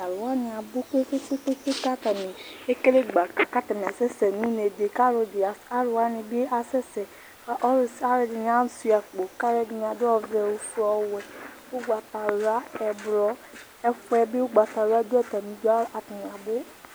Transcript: Talʋ wani abʋ kpe kpe kpe kpe, kʋ atani ekele gbaka kʋ atani asɛsɛ nʋ unedi kʋ alʋ wani bi asɛsɛ kʋ alʋɛdini asuia akpo, kʋ alʋɛdini adʋ ɔvɛ, ofue, ɔwɛ, ʋgbatawla, ɛblɔ Ɛfʋɛ bi ʋgbatawla dʋ atami idʋ, atani abʋ